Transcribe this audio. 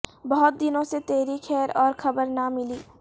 بہت دنوں سے تیری خیر اور خبر نہ ملی